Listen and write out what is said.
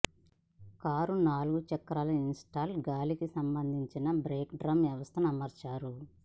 car నాలుగు చక్రాలు install గాలికి సంబంధించిన బ్రేక్ డ్రమ్ వ్యవస్థను అమర్చారు